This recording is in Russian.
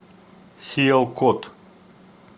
сиялкот